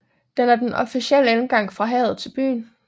Den er den officielle indgang fra havet til byen